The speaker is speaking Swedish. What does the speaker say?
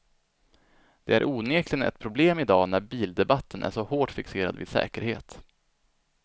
Det är onekligen ett problem i dag när bildebatten är så hårt fixerad vid säkerhet.